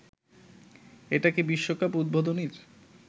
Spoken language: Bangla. এটা কি বিশ্বকাপ উদ্বোধনীর